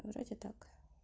вроде так